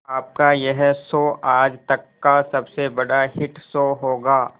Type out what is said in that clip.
आपका यह शो आज तक का सबसे बड़ा हिट शो होगा